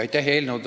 Aitäh!